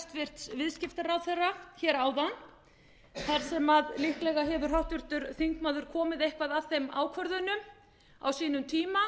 ég beindi til hæstvirtur viðskiptaráðherra áðan þar sem líklega hefur háttvirtur þingmaður komið eitthvað að þeim ákvörðunum á sínum tíma